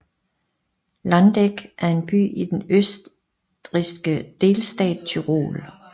Landeck er en by i den østrigske delstat Tyrol